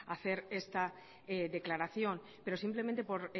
a hacer esta declaración pero simplemente por